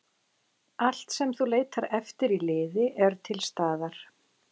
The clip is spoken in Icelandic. Allt sem þú leitar eftir í liði er til staðar.